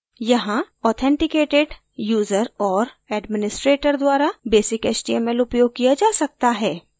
यहाँ authenticated user और administrator द्वारा basic html उपयोग किया जा सकता है